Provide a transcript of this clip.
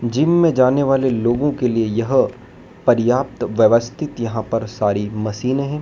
Gym में जाने वाले लोगों के लिए यह पर्याप्त व्यवस्थित यहां पर सारी मशीनें हैं।